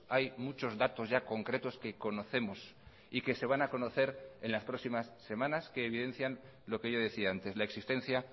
hay muchos datos ya concretos que conocemos y que se van a conocer en las próximas semanas que evidencian lo que yo decía antes la existencia